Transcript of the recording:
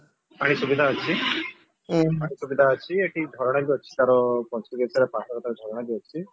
ପାଣି ସୁବିଧା ଅଛି ପାଣି ସୁବିଧା ଅଛି ଏଠି ଝରଣା ବି ଅଛି ତାର ପଞ୍ଚଲିଙ୍ଗେଶ୍ଵର ପାହାଡ ପାଖେ ତାର ଝରଣା ବି ଅଛି